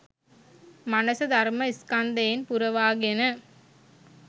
මනස ධර්ම ස්කන්ධයෙන් පුරවාගෙන